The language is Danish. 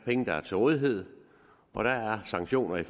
penge der er til rådighed og der er sanktioner i